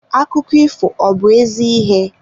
Akụkọ ifo ọ bu ezi ihe?